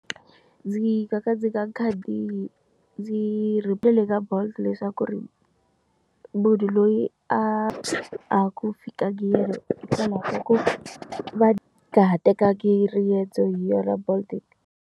Ndzi ka ka ndzi ka khadi ndzi rivele ka bolt leswaku ri munhu loyi a a ku fikanga yena leswaku va nga ha tengangi riendzo hi yona bolt.